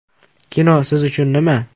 Kino siz uchun nima?